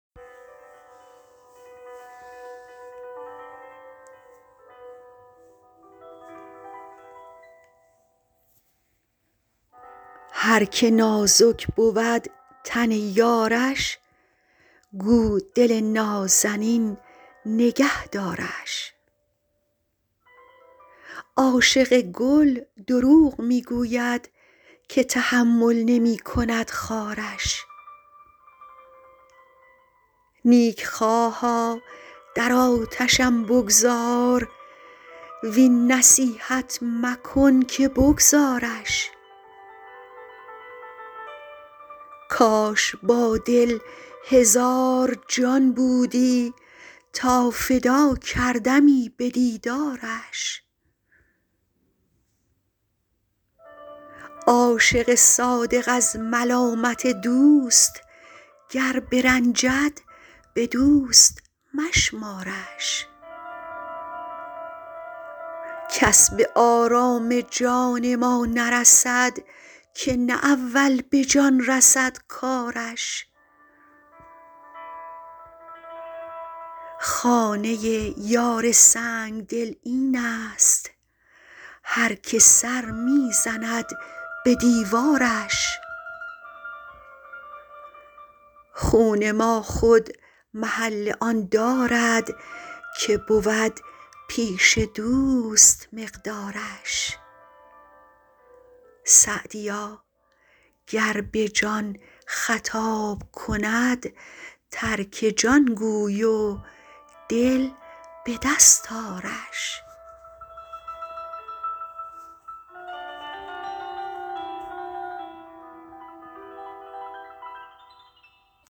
هر که نازک بود تن یارش گو دل نازنین نگه دارش عاشق گل دروغ می گوید که تحمل نمی کند خارش نیکخواها در آتشم بگذار وین نصیحت مکن که بگذارش کاش با دل هزار جان بودی تا فدا کردمی به دیدارش عاشق صادق از ملامت دوست گر برنجد به دوست مشمارش کس به آرام جان ما نرسد که نه اول به جان رسد کارش خانه یار سنگدل این است هر که سر می زند به دیوارش خون ما خود محل آن دارد که بود پیش دوست مقدارش سعدیا گر به جان خطاب کند ترک جان گوی و دل به دست آرش